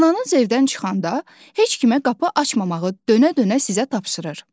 Anan evdən çıxanda heç kimə qapı açmamağı dönə-dönə sizə tapşırır.